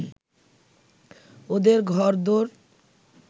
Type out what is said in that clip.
ওদের ঘরদোর